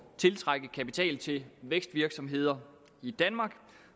tiltrække kapital til vækstvirksomheder i danmark